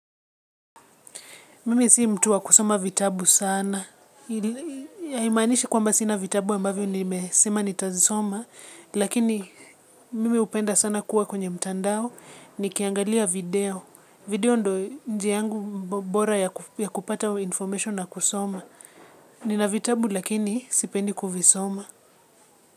Mimi si mtu wa kusoma vitabu sana. Haimaanishi kwamba sina vitabu ambavyo nimesema nitazisoma. Lakini mimi hupenda sana kuwa kwenye mtandao ni kiangalia video. Video ndo njia yangu bora ya kupata information na kusoma. Nina vitabu lakini sipendi kuvisoma.